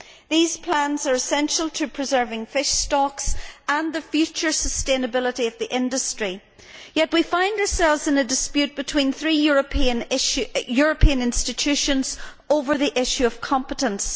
These plans are essential to preserving fish stocks and the future sustainability of the industry, yet we find ourselves in a dispute between three European institutions over the issue of competence.